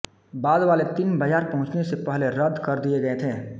बाद वाले तीन बाजार पहुंचने से पहले रद्द कर दिए गए थे